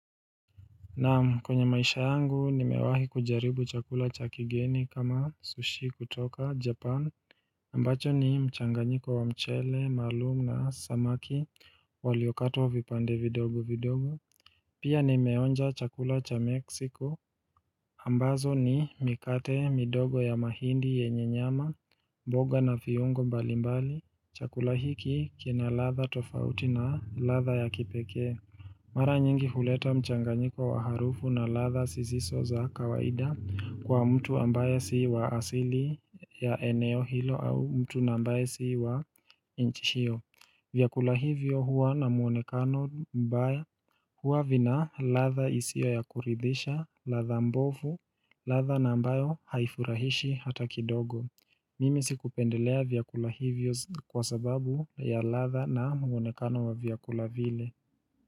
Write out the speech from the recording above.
Naam kwenye maisha yangu nimewahi kujaribu chakula cha kigeni kama sushi kutoka japan ambacho ni mchanganyiko wa mchele maalumu na samaki waliokatwa vipande vidogo vidogo Pia nimeonja chakula cha meksiko ambazo ni mikate midogo ya mahindi yenye nyama mboga na viungo mbalimbali chakula hiki kina ladha tofauti na ladha ya kipekee Mara nyingi huleta mchanganyiko wa harufu na ladha zisizo za kawaida kwa mtu ambaye si wa asili ya eneo hilo au mtu ambaye si wa nchi hio. Vyakula hivyo huwa na muonekano mbaya huwa vina ladha isiyo ya kuridisha, ladha mbovu, ladha na ambayo haifurahishi hata kidogo. Mimi sikupendelea vyakula hivyo kwa sababu ya ladha na muonekano wa vyakula vile.